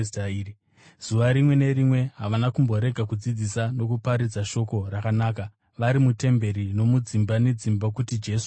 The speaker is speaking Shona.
Zuva rimwe nerimwe havana kumborega kudzidzisa nokuparidza shoko rakanaka vari mutemberi nomudzimba nedzimba kuti Jesu ndiye Kristu.